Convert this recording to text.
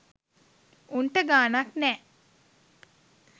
උන්ට ගානක් නෑ